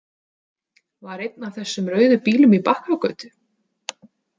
Var einn af þessum rauðu bílum í Bakkagötu?